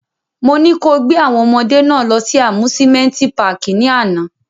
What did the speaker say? Mo ni ko gbe awọn ọmọde náa lọ si amusimenti pààki ni ana!